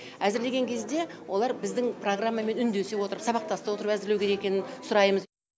әзірлеген кезде олар біздің программамен үндесе отырып сабақтаста отырып әзірлеу керек екенін сұраймыз